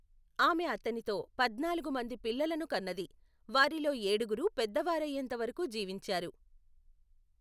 ఆమె అతనితో పద్నాలుగు మంది పిల్లలను కన్నది, వారిలో ఏడుగురు పెద్దవారయ్యేంత వరకు జీవించారు.